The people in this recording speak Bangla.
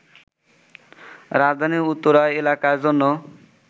রাজধানীর উত্তরা এলাকার জন্য